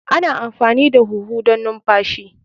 Ana amfani da huhu don numfashi.